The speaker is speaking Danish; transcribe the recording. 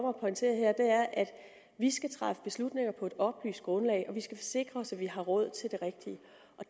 at pointere her er at vi skal træffe beslutninger på et oplyst grundlag og vi skal sikre os at vi har råd til det rigtige